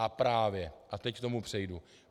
A právě - a teď k tomu přejdu.